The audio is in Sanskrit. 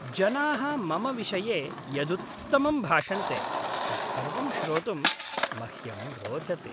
जनाः मम विषये यदुत्तमं भाषन्ते तत्सर्वं श्रोतुम् मह्यं रोचते।